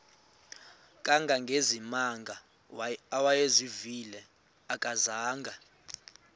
kangangezimanga awayezivile akazanga